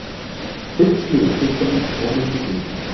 Kubbslegu puttarnir komandi við mig.